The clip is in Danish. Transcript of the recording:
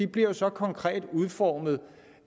bliver jo så konkret udformet